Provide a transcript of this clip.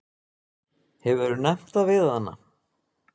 Hefurðu nefnt það við hana?